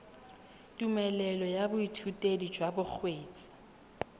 tumelelo ya boithutedi jwa bokgweetsi